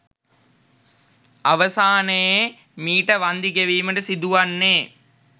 අවසානයේ මීට වන්දි ගෙවීමට සිදුවන්න‍ේ